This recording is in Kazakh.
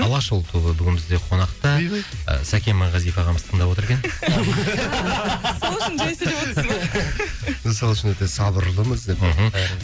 алашұлы тобы бүгін бізде қонақта үйбай сәкен майғазиев ағамыз тыңдап отыр екен сол үшін жай сөйлеп отсыз ба сол үшін өте сабырлымыз деп мхм